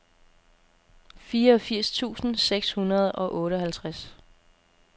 fireogfirs tusind seks hundrede og otteoghalvtreds